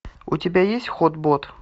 у тебя есть хот бот